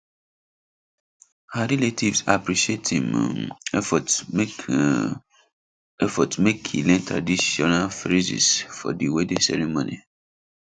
her relatives appreciate im um effort make um effort make e learn traditional phrases for di wedding ceremony